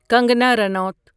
Kangana Ranaut